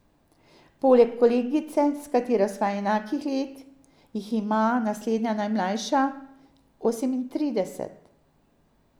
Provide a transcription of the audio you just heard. Poleg kolegice, s katero sva enakih let, jih ima naslednja najmlajša osemintrideset.